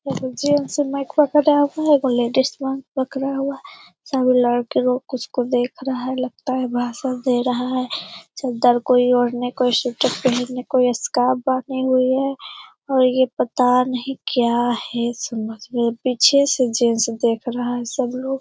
एगो जेंट्स सामान पकड़ा हुआ है एगो लेडीज सामान पकड़ा हुआ है सभी लड़के लोग कुछ को देख रहा है लगता है भाषण दे रहा है चद्दर कोई ओढ़े है कोई स्वेटर पहने है कोई स्कार्फ़ बांधे हुए है और ये पता नहीं ये क्या है समझ में नहीं पीछे से जेंट्स देख रहा है सब लोग ।